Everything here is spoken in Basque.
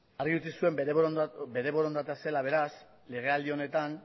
argi utzi zuen bere borondatea zela beraz legealdi honetan